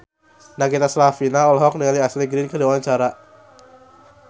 Nagita Slavina olohok ningali Ashley Greene keur diwawancara